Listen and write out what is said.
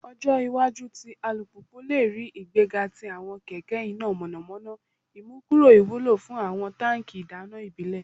Ọjọ iwaju ti alupupu le rii igbega ti awọn kẹkẹ ina mọnamọna, imukuro iwulo fun awọn tanki idana ibile